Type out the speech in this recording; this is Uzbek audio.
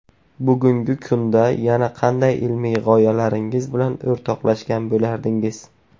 Bugungi kunda yana qanday ilmiy g‘oyalaringiz bilan o‘rtoqlashgan bo‘lardingiz?